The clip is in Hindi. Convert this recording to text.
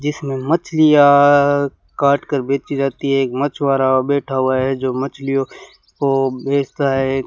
इसमें मछलियां काट कर बेची जाती है एक मछुआरा बैठा हुआ है जो मछलियों को बेचता है।